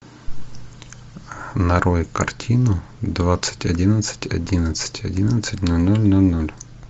нарой картину двадцать одиннадцать одиннадцать одиннадцать ноль ноль ноль ноль